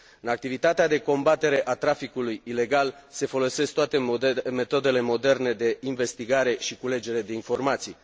În activitatea de combatere a traficului ilegal se folosesc toate metodele moderne de investigare și culegere de informații.